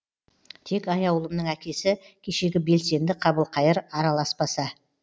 тек аяулымның әкесі кешегі белсенді қабылқайыр араласпаса